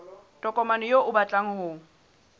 tokomane eo o batlang ho